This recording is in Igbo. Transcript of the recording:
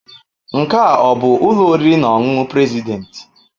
Nke a ọ bụ ụlọ oriri na ọṅụṅụ President?